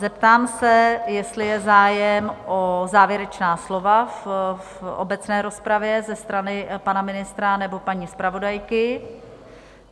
Zeptám se, jestli je zájem o závěrečná slova v obecné rozpravě ze strany pana ministra nebo paní zpravodajky?